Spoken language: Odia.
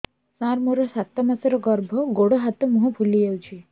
ସାର ମୋର ସାତ ମାସର ଗର୍ଭ ଗୋଡ଼ ହାତ ମୁହଁ ଫୁଲି ଯାଉଛି